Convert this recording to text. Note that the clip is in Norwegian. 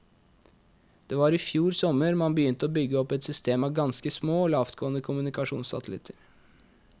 Det var i fjor sommer man begynte å bygge opp et system av ganske små og lavtgående kommunikasjonssatellitter.